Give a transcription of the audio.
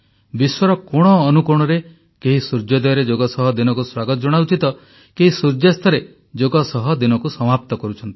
ବିଶ୍ୱର କୋଣ ଅନୁକୋଣରେ କେହି ସୂର୍ଯ୍ୟ ଉଦୟ ପୂର୍ବରୁ ଯୋଗ ସହ ଦିନକୁ ସ୍ୱାଗତ ଜଣାଉଛି ତ କେହି ସୂର୍ଯ୍ୟାସ୍ତରେ ଯୋଗ ସହ ଦିନକୁ ସମାପ୍ତ କରୁଛି